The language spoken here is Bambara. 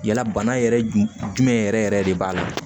Yala bana yɛrɛ jumɛn jumɛn yɛrɛ yɛrɛ de b'a la